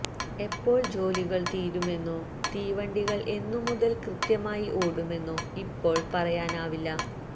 എപ്പോൾ ജോലികൾ തീരുമെന്നോ തീവണ്ടികൾ എന്നുമുതൽ കൃത്യമായി ഓടുമെന്നോ ഇപ്പോൾ പറയാനാവില്ല